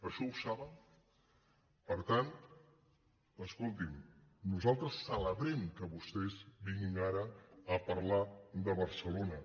això ho saben per tant escolti’m nosaltres ce·lebrem que vostès vinguin ara a parlar de barcelona